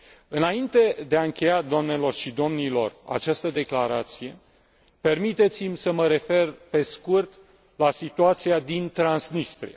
Înainte de a încheia, doamnelor și domnilor, această declarație, permiteți mi să mă refer, pe scurt, la situația din Transnistria.